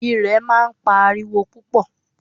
Irẹ̀ máa ń pa ariwo púpọ̀.